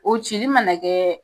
O cili mana na kɛ